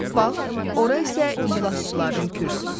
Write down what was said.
Bax, ora isə iclasçıların kürsüsüdür.